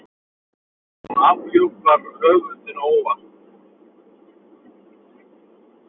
Hún afhjúpar höfundinn- óvart.